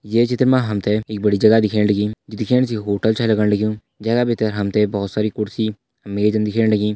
ये चित्र में हमते एक बड़ी जगह दिखेण लगीं जो दिख्येण से ये होटल छै लगण लग्युं जैका बित्तर हमते बहौत सारी कुर्सी मेजन दिख्येण लगीं।